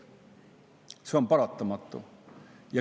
See on paratamatu.